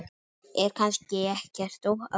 Er kannski ekkert að óttast?